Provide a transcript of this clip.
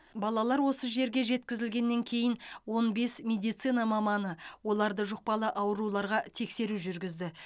балалар осы жерге жеткізілгеннен кейін он бес медицина маманы оларды жұқпалы ауруларға тексеру жүргізді